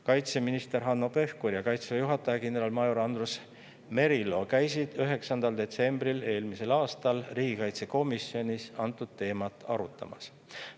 Kaitseminister Hanno Pevkur ja Kaitseväe juhataja kindralmajor Andrus Merilo käisid 9. detsembril eelmisel aastal riigikaitsekomisjonis antud teemat arutamas.